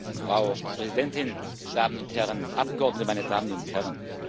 Frau Präsidentin, Damen und Herren Abgeordnete, meine Damen und Herren!